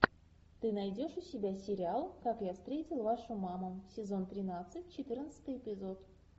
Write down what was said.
ты найдешь у себя сериал как я встретил вашу маму сезон тринадцать четырнадцатый эпизод